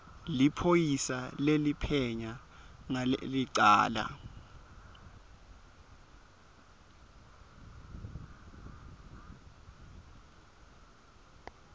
liphoyisa leliphenya ngalelicala